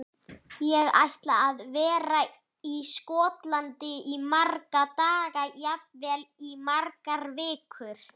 Ég ætla að vera í Skotlandi í marga daga, jafnvel í margar vikur.